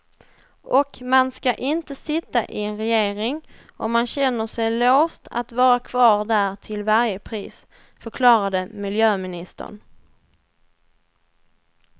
Och man ska inte sitta i en regering om man känner sig låst att vara kvar där till varje pris, förklarade miljöministern.